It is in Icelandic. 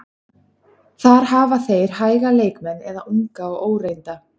Þar hafa þeir hæga leikmenn eða unga og óreynda.